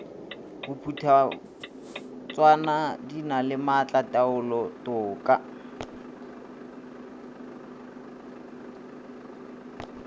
bophuthatswana di na le maatlataolotoka